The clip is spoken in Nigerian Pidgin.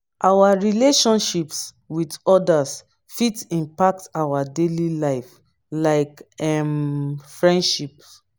our relationships with odas fit impact our daily life like um friendships.